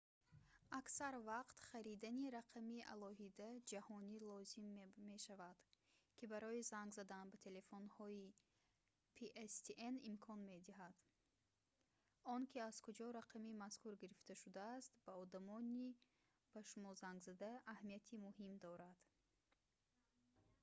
аксар вақт харидани рақами алоҳида ҷаҳонӣ лозим мешавад ки барои занг задан ба телефонҳои pstn имкон медиҳад он ки аз куҷо рақами мазкур гирифта шудааст ба одамони ба шумо зангзананда аҳамияти муҳим дорад